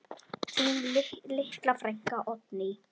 Þín litla frænka, Oddný.